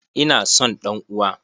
Ina son ɗan uwa!